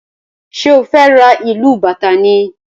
ṣe o fè rá ilú bàtá ni?